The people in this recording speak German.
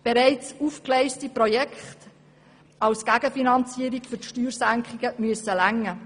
Bereits aufgegleiste Projekte als Gegenfinanzierung für die Steuersenkungen müssen ausreichen.